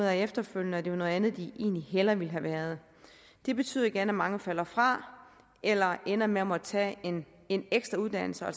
af efterfølgende at det var noget andet de hellere ville have været det betyder igen at mange falder fra eller ender med at måtte tage en en ekstra uddannelse og